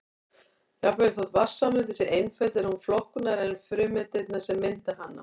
Jafnvel þótt vatnssameindin sé einföld er hún flóknari en frumeindirnar sem mynda hana.